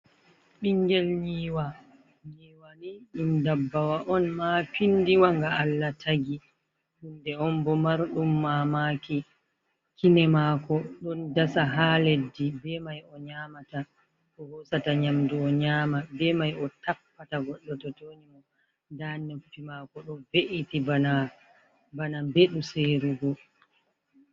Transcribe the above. Ɓingel nywa, nyiwa ni ɗum dabbawa on ma pindi wa nga Allah tagi, hunde on bo marɗum mamaki, kine mako ɗon dasa ha leddi be mai o nyamata ko hosata nyamdu o nyama, be mai o tappata goɗɗo to tonyi mo, nda nopi mako ɗo ɓe’iti bana mbeɗu serugo.